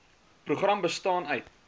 program bestaan uit